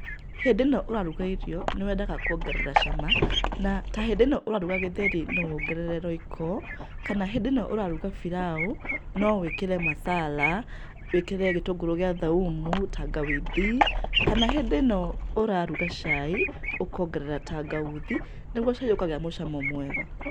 Hĩndĩ ĩno ũraruga irio, nĩ wendaga kũongerera cama, na ta hĩndĩ ĩno ũraruga gĩtheri no wongerere Royco kana hĩndĩ ĩno ũraruga biraũ no wĩkĩre masala, wĩkĩre gĩtũngũrũ gĩa thaumu, tangawithi, kana hĩndĩ ĩno ũraruga cai ũkongerera tangauthi nĩguo cai ũkagĩa mũcamo mwega.